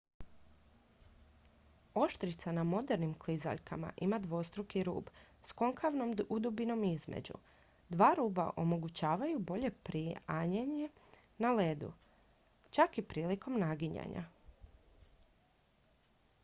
oštrica na modernim klizaljkama ima dvostruki rub s konkavnom udubinom između dva ruba omogućavaju bolje prianjanje na ledu čak i prilikom naginjanja